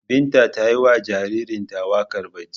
Binta ta yi wa jaririnta wakar barci.